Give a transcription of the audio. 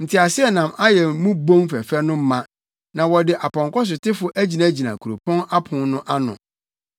Nteaseɛnam ayɛ mo bon fɛfɛ no ma, na wɔde apɔnkɔsotefo agyinagyina kuropɔn apon no ano.